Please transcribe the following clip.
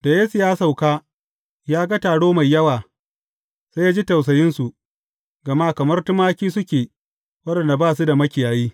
Da Yesu ya sauka, ya ga taro mai yawa, sai ya ji tausayinsu, gama kamar tumaki suke waɗanda ba su da makiyayi.